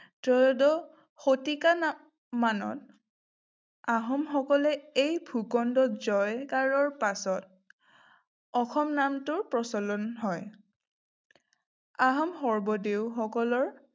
ত্ৰয়োদস শতিকা মানত আহোমসকলে এই ভূখণ্ডত জয় কৰাৰ পাছত অসম নামটো প্ৰচলন হয়। আহোম স্বৰ্গদেউসকলৰ